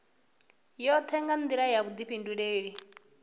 yoṱhe nga nḓila ya vhuḓifhinduleli